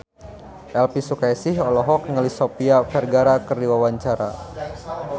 Elvi Sukaesih olohok ningali Sofia Vergara keur diwawancara